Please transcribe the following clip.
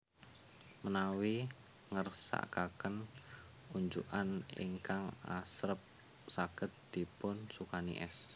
Menawi ngersakaken unjukan ingkang asrep saged dipun sukani es